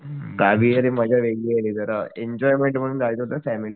गाविरे मज्जा वेगळी रे जरा एन्जॉयमेंट म्हणून जायचं होत फॅमिली सोबत